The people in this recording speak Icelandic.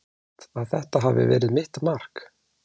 Er það satt að þetta hafi verið mitt mark?